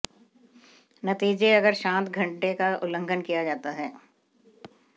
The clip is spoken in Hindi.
नतीजे अगर शांत घंटे का उल्लंघन किया जाता है